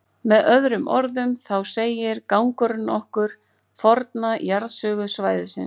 Með öðrum orðum, þá segir gangurinn okkur forna jarðsögu svæðisins.